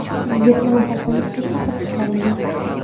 Yetti nafar politsiyachi hibsga olingan.